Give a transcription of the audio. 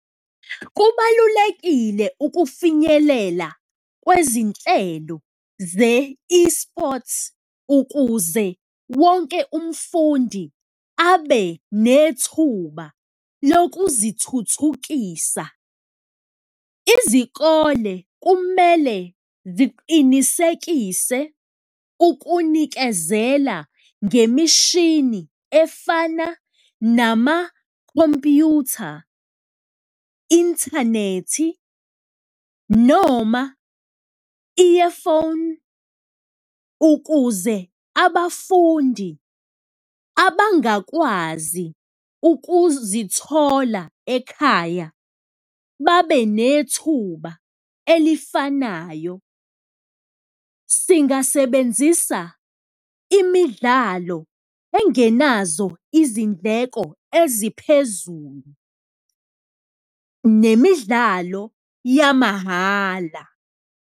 Kubalulekile ukufinyelela kwezinhlelo ze-esports ukuze wonke umfundi abe nethuba lokuzithuthukisa. Izikole kumele ziqinisekise ukunikezela ngemishini efana namakhompuyutha, inthanethi noma earphone, ukuze abafundi abangakwazi ukuzithola ekhaya babe nethuba elifanayo. Singasebenzisa imidlalo engenazo izindleko eziphezulu nemidlalo yamahhala.